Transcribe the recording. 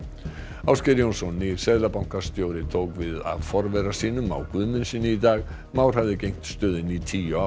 Ásgeir Jónsson nýr seðlabankastjóri tók við af forvera sínum Má Guðmundssyni í dag Már hafði gegnt stöðunni í tíu ár